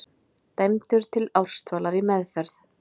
Dæmdur til ársdvalar í meðferð